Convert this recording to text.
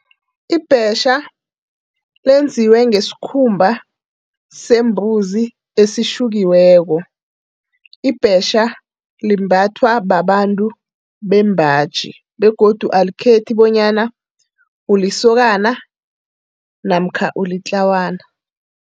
Ibhetjha lenziwe ngesikhumba sembuzi esitjhukiweko. Ibhetjha limbathwa babantu bembaji begodu alikhethi bonyana ulisokana namkha ulitlawana.